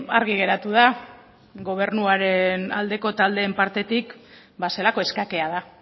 argi geratu da gobernuaren aldeko taldeen partetik zelako eskakeada